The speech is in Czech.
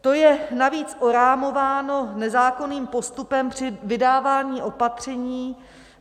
To je navíc orámováno nezákonným postupem při vydávání opatření